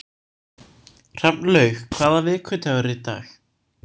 Hrafnlaug, hvaða vikudagur er í dag?